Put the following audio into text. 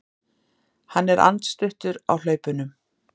Hann er andstuttur á hlaupunum.